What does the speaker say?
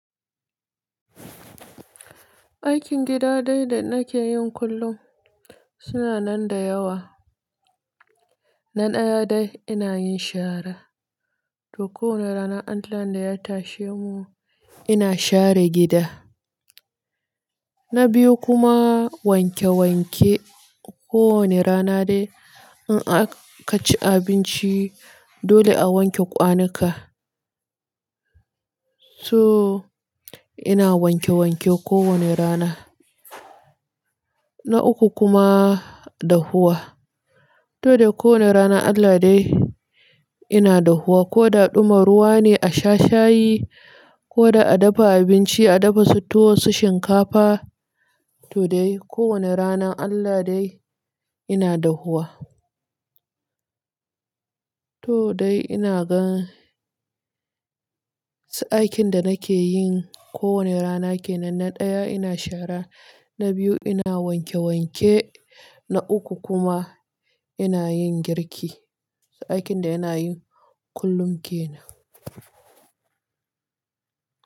Aikin gida dai da nake yin kullum suna nan da yawa. Na ɗaya dai ina yin shara. To kowane rana Allahn da ya tashe mu ina share gida. Na biyu kuma wanke wanke. Ko wane rana dai in aka ci abinci dole a wanke kwanuka. So ina wanke wanke ko wane rana. Na uku kuma dahuwa. To dai ko wane rana Allah dai ina dahuwa. Ko da ɗuma ruwa ne a sha shayi ko da a dafa abinci a dafa su tuwo su shinkafa. To dai ko wane rana Allah dai ina dahuwa. To dai ina gan aikin da nake yin ko wane rana ke nan. Na ɗaya ina shara, na biyu ina wanke wanke, na uku kuma ina yin girki. Aikin da ina yin kullum ke nan.